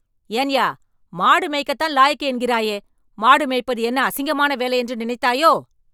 ஏன்யா.. மாடு மேய்க்கத்தான் லாயக்கு என்கிறாயே.. மாடு மேய்ப்பது என்ன அசிங்கமான வேலையென்று நினைத்தாயோ?